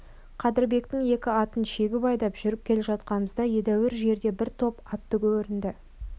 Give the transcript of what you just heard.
қадырбектің екі атын жегіп айдап жүріп келе жатқанымызда едәуір жерде бір топ атты көрінді